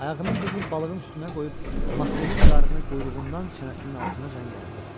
Ayağının birini balığın üstünə qoyub, makrelin qarnını quyruğundan çənəsinin altınacan yardı.